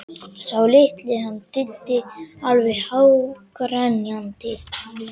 Sá litli, hann Diddi, alveg hágrenjandi.